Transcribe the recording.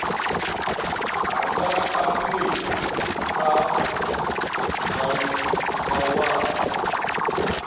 a nga aphila kha mawanwa